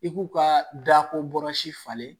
I k'u ka dako falen